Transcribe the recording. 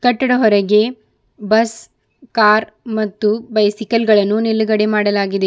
ಕಟ್ಟಡ ಹೊರಗೆ bus car ಮತ್ತು ಬೈಸಿಕಲ್ ಗಳನ್ನು ನಿಲುಗಡೆ ಮಾಡಲಾಗಿದೆ.